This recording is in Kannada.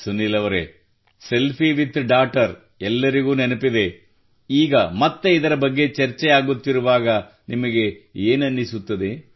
ಸುನೀಲ್ ಅವರೇ ಸೆಲ್ಫಿ ವಿತ್ ಡಾಟರ್ ಎಲ್ಲರಿಗೂ ನೆನಪಿದೆ ಈಗ ಮತ್ತೆ ಇದರ ಬಗ್ಗೆ ಚರ್ಚೆಯಾಗುತ್ತಿರುವಾಗ ನಿಮಗೆ ಏನನಿಸುತ್ತದೆ